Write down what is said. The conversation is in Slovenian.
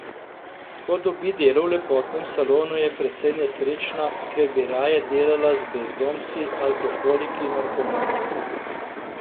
Ko dobi delo v lepotnem salonu je precej nesrečna, ker bi raje delala z brezdomci, alkoholiki, narkomani.